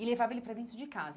E levava ele para dentro de casa.